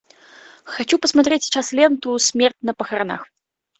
хочу посмотреть сейчас ленту смерть на похоронах